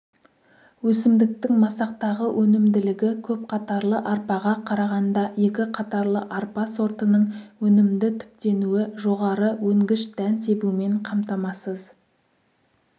өсімдіктің масақтағы өнімділігі көпқатарлы арпаға қарағанда екі қатарлы арпа сортының өнімді түптенуі жоғары өнгіш дән себумен қамтамасыз